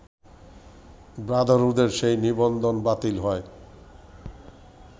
ব্রাদারহুডের সেই নিবন্ধন বাতিল হয়